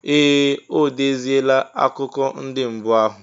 Ee! O deziela akụkọ ndị mbụ ahụ.